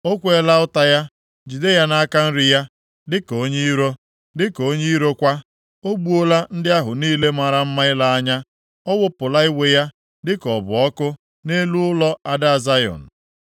O kweela ụta ya, jide ya nʼaka nri ya, dịka onye iro. Dịka onye iro kwa o gbuola ndị ahụ niile mara mma ile anya; ọ wụpụla iwe ya, dịka ọ bụ ọkụ, nʼelu ụlọ ada Zayọn.